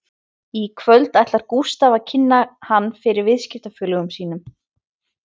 Í kvöld ætlar Gústaf að kynna hann fyrir viðskiptafélögum sínum